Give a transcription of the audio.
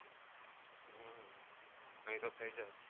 નહિ તો થઈ જાત